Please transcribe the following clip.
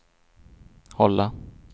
hålla